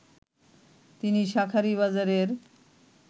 তিনি শাঁখারীবাজারের